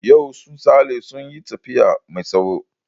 Yau su sale sun yi tafiya mai tsawo